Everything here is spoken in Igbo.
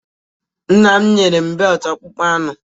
Nna m nyere m beltụ akpụkpọ anụ.